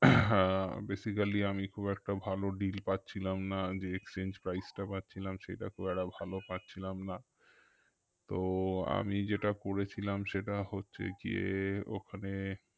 আহ Basically আমি খুব একটা ভালো deal পাচ্ছিলাম না যে exchange price টা পাচ্ছিলাম সেটা খুব একটা ভালো পাচ্ছিলাম না তো আমি যেটা করেছিলাম সেটা হচ্ছে গিয়ে ওখানে